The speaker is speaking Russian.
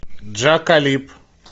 джа калиб